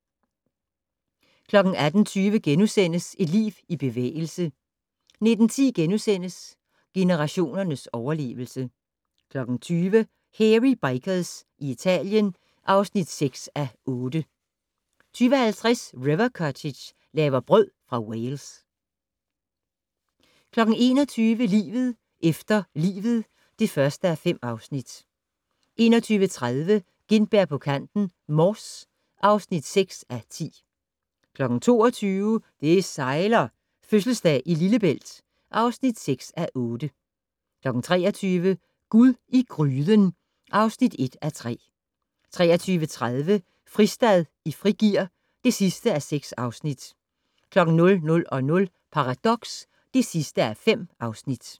18:20: Et liv i bevægelse * 19:10: Generationers overlevelse * 20:00: Hairy Bikers i Italien (6:8) 20:50: River Cottage - laver brød fra Wales 21:00: Livet efter livet (1:5) 21:30: Gintberg på kanten - Mors (6:10) 22:00: Det sejler - Fødselsdag i Lillebælt (6:8) 23:00: Gud i gryden (1:3) 23:30: Fristad i frigear (6:6) 00:00: Paradox (5:5)